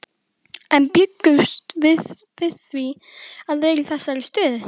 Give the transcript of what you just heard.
En bjuggumst við við því að vera í þessari stöðu?